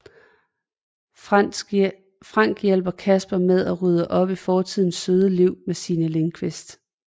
Frank hjælper Casper med at rydde op i fortidens søde liv med Signe Lindkvist